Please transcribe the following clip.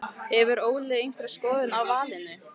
Hefur Óli einhverja skoðun á valinu?